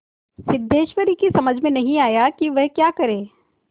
सिद्धेश्वरी की समझ में नहीं आया कि वह क्या करे